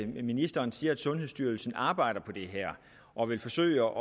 ministeren siger at sundhedsstyrelsen arbejder på det her og vil forsøge